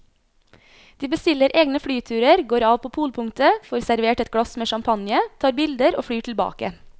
De bestiller egne flyturer, går av på polpunktet, får servert et glass med champagne, tar bilder og flyr tilbake.